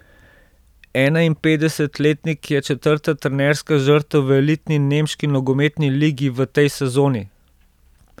Enainpetdesetletnik je četrta trenerska žrtev v elitni nemški nogometni ligi v tej sezoni.